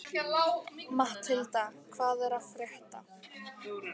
Matthilda, hvað er að frétta?